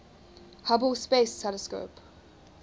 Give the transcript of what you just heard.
hubble space telescope